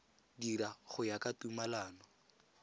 dira go ya ka tumalano